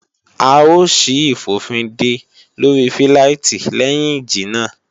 À ó ṣí ìfòfindè lóri fíláìtí léhìn ìjì náà